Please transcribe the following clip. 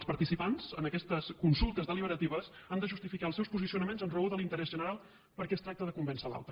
els participants en aquestes consultes deliberatives han de justificar els seus posicionaments en raó de l’interès general perquè es tracta de convèncer l’altre